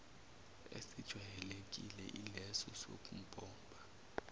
esijwayelekile ileso sokumpompa